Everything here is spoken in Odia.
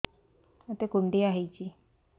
ମୋତେ କୁଣ୍ଡିଆ ହେଇଚି